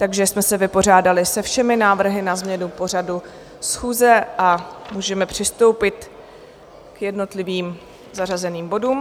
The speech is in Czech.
Takže jsme se vypořádali se všemi návrhy na změnu pořadu schůze a můžeme přistoupit k jednotlivým zařazeným bodům.